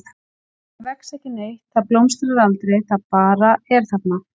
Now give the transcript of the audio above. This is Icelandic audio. Það vex ekki neitt, það blómstrar aldrei, það bara er þarna.